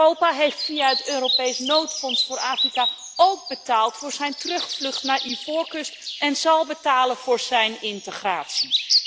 Europa heeft via het Europese noodfonds voor Afrika ook betaald voor zijn terugvlucht naar Ivoorkust en zal betalen voor zijn integratie.